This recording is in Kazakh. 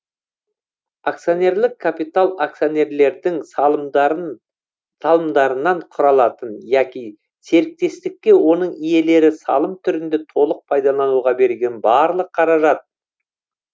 акционерлік капитал акционерлердің салымдарынан құралатын яки серіктестікке оның иелері салым түрінде толық пайдалануға берген барлық қаражат